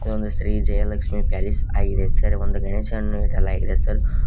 ಒಂದು ಶ್ರೀ ಜಯಲಕ್ಷ್ಮಿ ಪ್ಯಾಲೇಸ್ ಆಗಿದೆ ಒಂದು ಗಣೇಶವನ್ನು ಇಡಲಾಗಿದೆ.